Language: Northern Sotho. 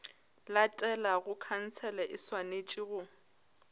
latelago khansele e swanetše go